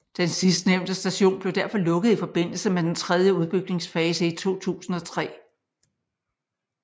Den sidstnævnte station blev derfor lukket i forbindelse med den tredje udbygningsfase i 2003